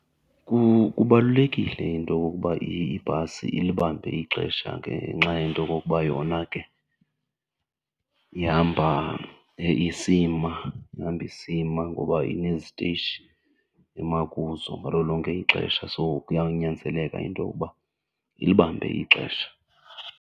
Kubalulekile into yokokuba ibhasi ilibambe ixesha ngenxa yento yokokuba yona ke ihamba isima, ihamba isima ngoba inezitishi ema kuzo ngalo lonke ixesha. So kuyawunyanzeleka into yokuba ilibambe ixesha.